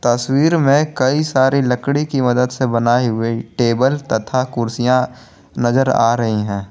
तस्वीर में कई सारी लकड़ी की मदद से बनाई हुई टेबल तथा कुर्सियां नजर आ रही है।